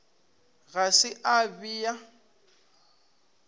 ga se a be a